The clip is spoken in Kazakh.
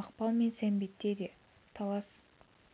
мақпал мен сәмбетте де талас